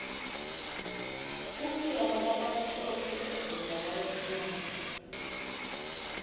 kufika kwalabamhlophe eveni lalabamnyama